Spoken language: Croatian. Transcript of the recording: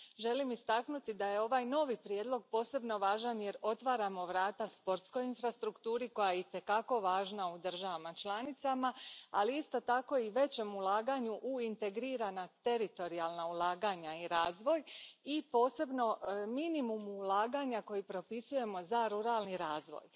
Želim istaknuti da je ovaj novi prijedlog posebno važan jer otvaramo vrata sportskoj infrastrukturi koja je i te kako važna u državama članicama, ali isto tako i većem ulaganju u integrirana teritorijalna ulaganja i razvoj, i posebno minimumu ulaganja koji propisujemo za ruralni razvoj.